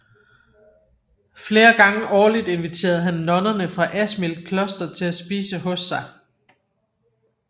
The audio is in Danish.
Flere gange årligt inviterede han nonnerne fra Asmild Kloster til at spise hos sig